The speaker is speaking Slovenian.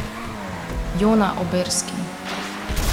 Jona Oberski.